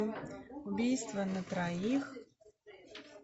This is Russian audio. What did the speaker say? убийство на троих